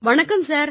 வணக்கம் சார்